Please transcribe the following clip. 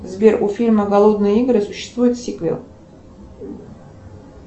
сбер у фильма голодные игры существует сиквел